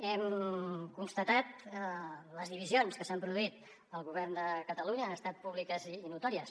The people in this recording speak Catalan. hem constatat les divisions que s’han produït al govern de catalunya han estat públiques i notòries